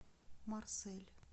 марсель